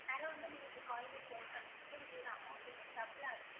வந்து நீங்க உங்க coin அ spend பண்றது உங்களோட amount வந்து double ஆகுது.